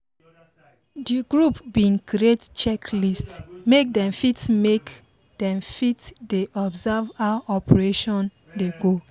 the group been create check list make them fit make them fit de observe how preparation dey go